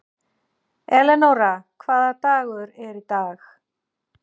Elenóra, hvaða dagur er í dag?